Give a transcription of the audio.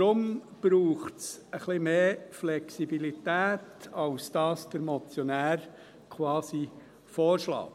Deshalb braucht es etwas mehr Flexibilität, als der Motionär quasi vorschlägt.